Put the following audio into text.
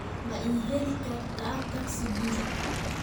ma ii heli kartaa tagsi guri